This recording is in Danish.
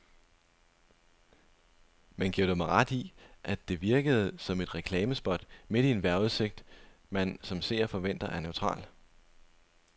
Men giver du mig ret i, at det virkede som et reklamespot midt i en vejrudsigt, man som seer forventer er neutral.